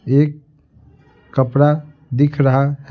एक कपड़ा दिख रहा है।